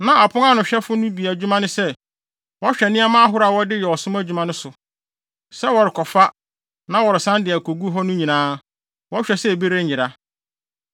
Na apon ano ahwɛfo no bi adwuma ne sɛ, wɔhwɛ nneɛma ahorow a wɔde yɛ ɔsom adwuma no so. Sɛ wɔrekɔfa, na wɔresan de akogu hɔ no nyinaa, wɔhwɛ sɛ bi renyera.